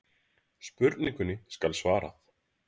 Spurningunni skal svarað.